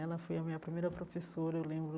Ela foi a minha primeira professora, eu lembro.